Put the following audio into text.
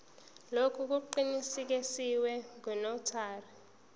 lokhu kuqinisekiswe ngunotary